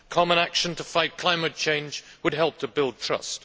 common action to fight climate change would help to build trust.